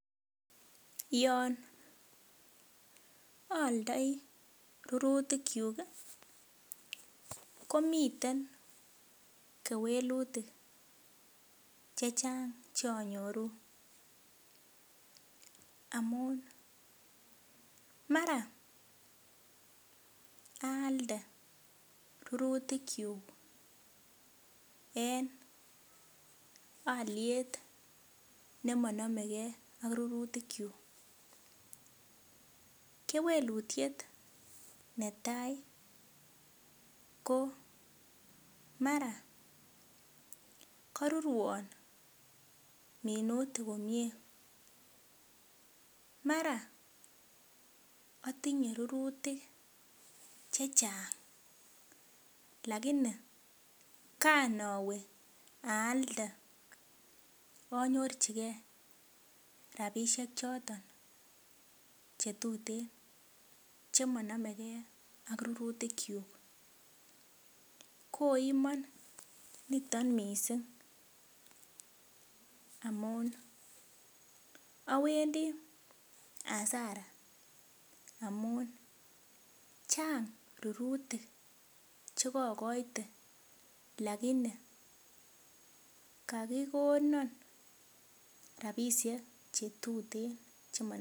Yon aaldoi rurutikyuk ii komiten kewelutik cheanyoru amun mara aalde rurutikyuk en alyet nemonomegee ak rurutikyuk ,kewelutiet netaa koo mara karurwon minutik komie, mara atinye rurutik chechang lakini kanawe aalde anyorchikee rapisiek choton che tuten chemonomegee ak rurutikyuk koimon nito missing amun awendi hasara amun chang rurutik chekokoite lakini kokikonon rapisiek chetuten chemo.